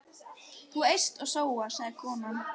Þú eyst og sóar, sagði konan.